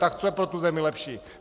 Tak co je pro tu zemi lepší?